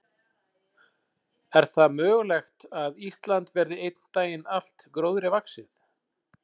Er það mögulegt að Ísland verði einn daginn allt gróðri vaxið?